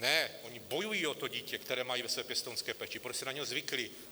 Ne, oni bojují o to dítě, které mají ve své pěstounské péči, protože si na něj zvykli.